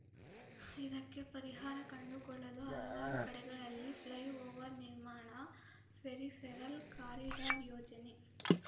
ಇದಕ್ಕೆ ಪರಿಹಾರ ಕಂಡುಕೊಳ್ಳಲು ಹಲವಾರು ಕಡೆಗಳಲ್ಲಿ ಫ್ಲೈ ಓವರ್ ನಿರ್ಮಾಣ ಪೆರಿಫೆರಲ್ ಕಾರಿಡಾರ್ ಯೋಜನೆ